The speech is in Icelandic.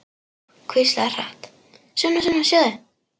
Hvíslar hratt: Sunna, Sunna, sjáðu!